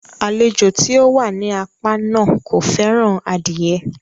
Àlejò tí ó wà ní apá náà kò fẹ́ràn adie